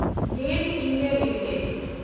GAIL (India) limited